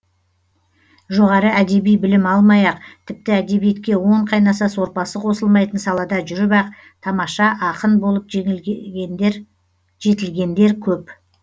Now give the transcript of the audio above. жоғары әдеби білім алмай ақ тіпті әдебиетке он қайнаса сорпасы қосылмайтын салада жүріп ақ тамаша ақын болып жетілгендер көп